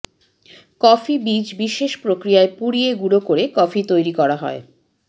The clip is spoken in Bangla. কফি বীজ বিশেষ পক্রিয়ায় পুড়িয়ে গুঁড়ো করে কফি তৈরি করা হয়